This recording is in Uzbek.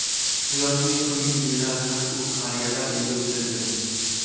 Hayotining so‘nggi yillarini u qariyalar uyida o‘tkazgan.